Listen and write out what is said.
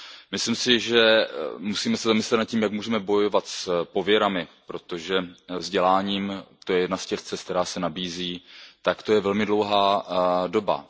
Myslím si, že se musíme zamyslet nad tím, jak můžeme bojovat s pověrami, protože vzděláváním to je jedna z těch cest, která se nabízejí to bude velmi dlouhá doba.